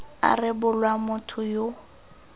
a rebolwa motho yo o